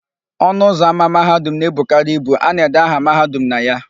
Ọnụụzọ ámá Mahadum na-ebukarị ibu; a na-ede aha Mahadum na ya.